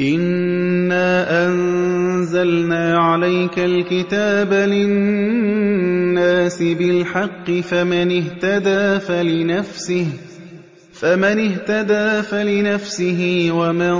إِنَّا أَنزَلْنَا عَلَيْكَ الْكِتَابَ لِلنَّاسِ بِالْحَقِّ ۖ فَمَنِ اهْتَدَىٰ فَلِنَفْسِهِ ۖ وَمَن